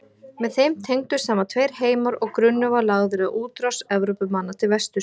Með þeim tengdust saman tveir heimar og grunnur var lagður að útrás Evrópumanna til vesturs.